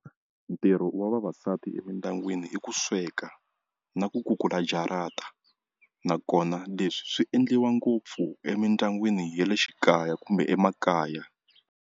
Ntirho wa vavasati emindyangwini i ku sweka na ku kukula jarata nakona leswi swi endliwa ngopfu emindyangwini ya le xikaya kumbe emakaya.